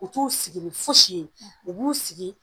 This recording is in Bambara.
U t'u sigi ni fosi ye, u b'u sigi